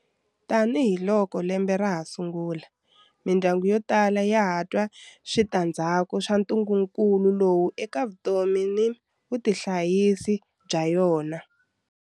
Tanihiloko lembe ra ha sungula, mindyangu yo tala ya ha twa switandzhaku swa ntungukulu lowu eka vutomi na vutihanyisi bya yona.